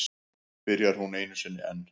Byrjar hún einu sinni enn.